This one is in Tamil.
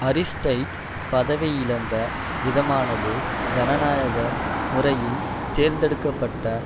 அரிஸ்டைட் பதவியிழந்த விதமானது ஜனநாயக முறையில் தேர்ந்தெடுக்க பட்ட